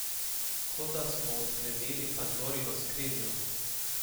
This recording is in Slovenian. Kot da smo odklenili Pandorino skrinjo.